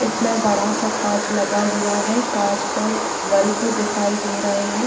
इसमें बड़ा-सा काँच लगा हुआ है काँच पर बल्ब दिखाई दे रहे हैं।